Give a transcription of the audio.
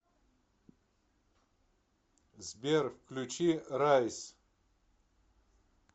сбер включи райс